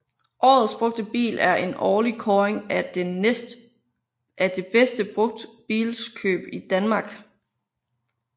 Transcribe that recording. Årets Brugtbil er en årlig kåring af det bedste brugtbilskøb i Danmark